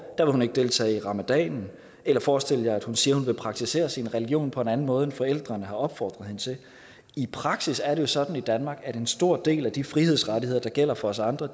hun ikke deltage i ramadanen eller forestil jer at hun siger at hun vil praktisere sin religion på en anden måde end forældrene har opfordret hende til i praksis er det jo sådan i danmark at en stor del af de frihedsrettigheder der gælder for os andre